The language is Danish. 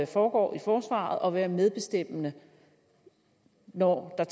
foregår i forsvaret og være medbestemmende når der